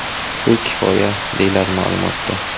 Shu kifoya”, deyiladi ma’lumotda.